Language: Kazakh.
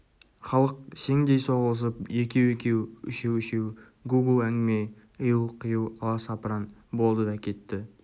халық сеңдей соғылысып екеу-екеу үшеу-үшеу гу-гу әңгіме ию-қию аласапыран болды да кетті